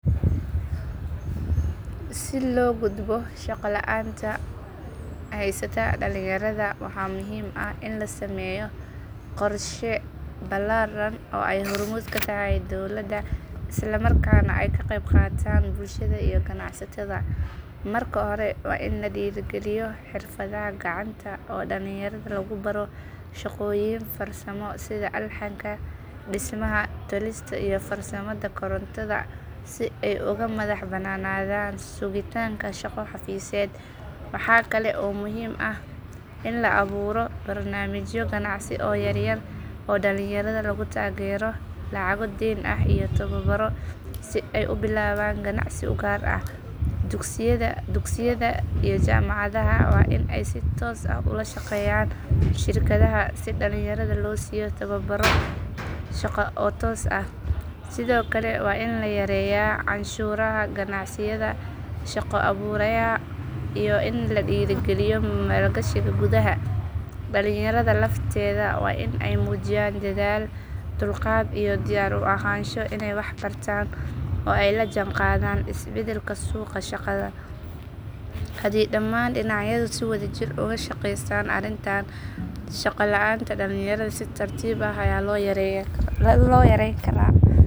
Si loo gudbo shaqo la’aanta haysata dhalinyarada waxaa muhiim ah in la sameeyo qorshe ballaaran oo ay hormuud ka tahay dawladda isla markaana ay ka qeyb qaataan bulshada iyo ganacsatada. Marka hore waa in la dhiirrigeliyo xirfadaha gacanta oo dhalinyarada lagu baro shaqooyin farsamo sida alxanka, dhismaha, tolista iyo farsamada korontada si ay uga madax bannaanadaan sugitaanka shaqo xafiiseed. Waxaa kale oo muhiim ah in la abuuro barnaamijyo ganacsi oo yaryar oo dhalinyarada lagu taageero lacago deyn ah iyo tababaro si ay u bilaabaan ganacsi u gaar ah. Dugsiyada iyo jaamacadaha waa in ay si toos ah ula shaqeeyaan shirkadaha si dhalinyarada loo siiyo tababarro shaqo oo toos ah. Sidoo kale waa in la yareeyaa canshuuraha ganacsiyada shaqo abuuraya iyo in la dhiirrigeliyo maalgashiga gudaha. Dhalinyarada lafteeda waa in ay muujiyaan dadaal, dulqaad iyo diyaar u ahaansho inay wax bartaan oo ay la jaan qaadaan isbeddelka suuqa shaqada. Haddii dhammaan dhinacyadu si wadajir ah uga shaqeeyaan arrintan, shaqo la’aanta dhalinyarada si tartiib ah ayaa loo yareyn karaa.